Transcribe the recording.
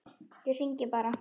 Ég hringi bara.